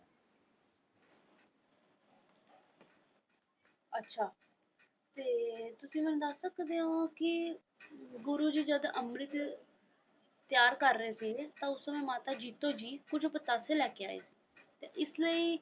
ਅੱਛਾ ਤੇ ਤੁਸੀਂ ਮੈਨੂੰ ਦੱਸ ਸਕਦੇ ਹੋ ਕਿ ਗੁਰੂ ਜੀ ਜਦ ਅੰਮ੍ਰਿਤ ਤਿਆਰ ਕਰ ਰਹੇ ਸੀਗੇ ਤਾਂ ਉਸ ਸਮੇਂ ਮਾਤਾ ਜੀਤੋ ਜੀ ਕੁੱਝ ਪਤਾਸੇ ਲੈ ਕੇ ਆਏ ਤਾਂ ਇਸ ਲਈ।